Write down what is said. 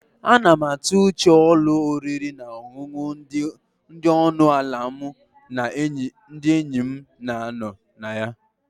A na m atụ uche ụlọ oriri na ọṅụṅụ dị ọnụ ala mụ na ndị enyi m na-anọ na ya